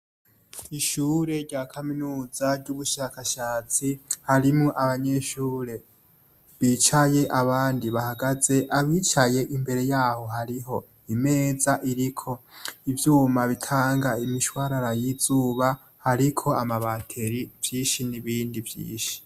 Ishure rya kaminuza ry'ubushakashatsi harimwo abanyeshure bicaye, abandi bahagaze. Abicaye imbere yaho hariho imeza iriko ivyuma bitanga imishwarara y'izuba, hariko amabateri, vyinshi, n'ibindi vyinshi.